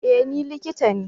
E! Ni likita ne.